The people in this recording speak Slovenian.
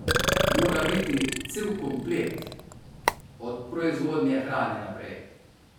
Mora biti cel komplet, od proizvodnje hrane naprej.